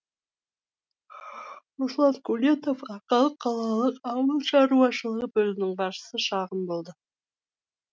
руслан құлетов арқалық қалалық ауыл шаруашылығы бөлімінің басшысы шағым болды